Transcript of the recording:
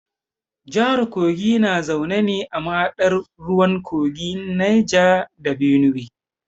Jahar kogi na zaune ne a mahaɗar ruwan kogin Neja da Benuwe.